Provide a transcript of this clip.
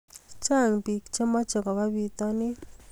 Chang pik che mache koba pitanin